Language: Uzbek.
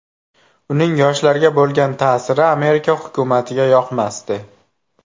Uning yoshlarga bo‘lgan ta’siri Amerika hukumatiga yoqmasdi.